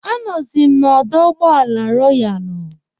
Anọzi m n'ọdọ ụgbọala Royalu.